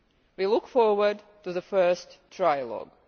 We look forward to the first trilogue.